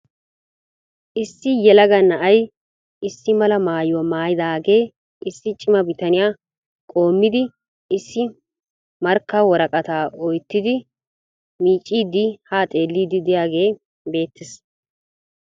Issi yelaga na'ay issi mala maayuwa mayidaage issi cima bitaniya qoommidi issi markka woraqataa oyittidi miicciiddi haa xeelliiddi diyagee beettes.